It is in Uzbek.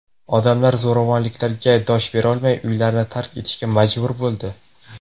Odamlar zo‘ravonliklarga dosh berolmay, uylarini tark etishga majbur bo‘ldi.